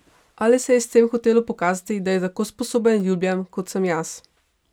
Ali se je s tem hotelo pokazati, da je tako sposoben in ljubljen, kot sem jaz?